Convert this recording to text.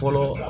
Fɔlɔ